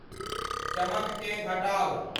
चमककें घटाउ ।